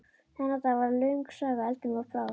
Þennan dag varð löng saga eldinum að bráð.